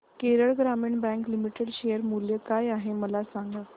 केरळ ग्रामीण bank limited share मूल्य काय आहे मला सांगा